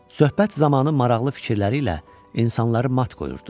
Söhbət zamanı maraqlı fikirləri ilə insanları mat qoyurdu.